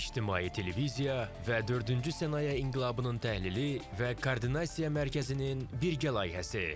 İctimai Televiziya və dördüncü sənaye inqilabının təhlili və koordinasiya mərkəzinin birgə layihəsi.